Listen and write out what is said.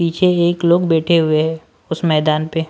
पीछे एक लोग बैठे हुए हैं उस मैदान पे--